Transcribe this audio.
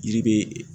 Yiri be